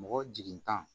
Mɔgɔ jigin tan